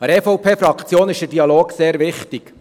Der EVP-Fraktion ist der Dialog sehr wichtig.